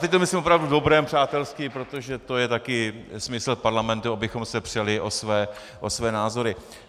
Teď to myslím opravdu v dobrém, přátelsky, protože to je taky smysl parlamentu, abychom se přeli o své názory.